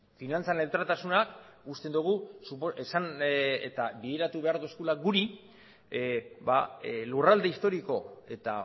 finantza neutraltasuna uste dugu bideratu behar digula guri lurralde historiko eta